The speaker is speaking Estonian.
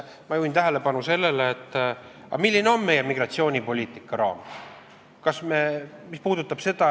Ma juhin tähelepanu sellele, milline on meie migratsioonipoliitika raam.